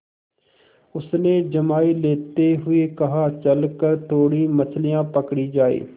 उसने जम्हाई लेते हुए कहा चल कर थोड़ी मछलियाँ पकड़ी जाएँ